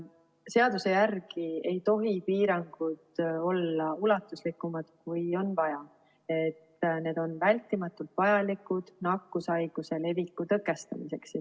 Seaduse järgi ei tohi piirangud olla ulatuslikumad, kui on vaja, et need on vältimatult vajalikud nakkushaiguse leviku tõkestamiseks.